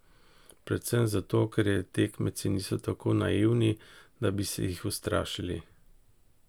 Predvsem zato, ker tekmeci niso tako naivni, da bi se jih ustrašili.